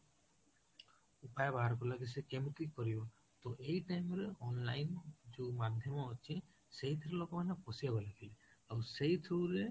ଉପାୟ ବାହାର କଲା କି ସେ କେମିତି କରିବ, ତ ଏଇ time ରେ online ରେ ଯୋଉ ମାଧ୍ୟମ ଅଛି ସେଇଥୁରୁ ଲୋକ ମାନେ ପଶିବାକୁ ଲାଗିଲେ ଆଉ ସେଇଥୁରୁ ରେ